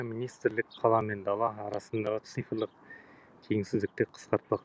министрлік қала мен дала арасындағы цифрлық теңсіздікті қысқартпақ